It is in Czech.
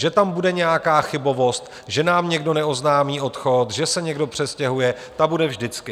Že tam bude nějaká chybovost - že nám někdo neoznámí odchod, že se někdo přestěhuje - ta bude vždycky.